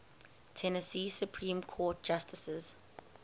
tennessee supreme court justices